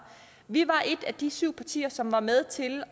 vi var et af de syv partier som var med til